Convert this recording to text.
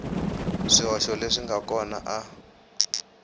swihoxo leswi nga kona a